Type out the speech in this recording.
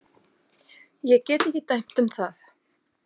Ég get ekki dæmt um það.